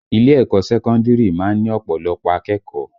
Ilé ẹ̀kọ́ sẹ́kọ́ndìrì má ń ní ọ̀pọ̀lọpọ̀ akẹ́kọ̀ọ́